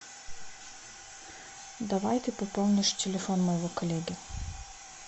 давай ты пополнишь телефон моего коллеги